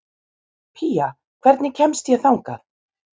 Pía, hvernig kemst ég þangað?